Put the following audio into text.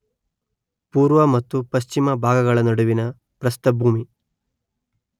ಪೂರ್ವ ಮತ್ತು ಪಶ್ಚಿಮ ಭಾಗಗಳ ನಡುವಿನ ಪ್ರಸ್ಥಭೂಮಿ